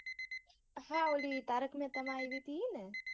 હા ઓલી તારક મહેતા મા આવી હતી ઈ ને.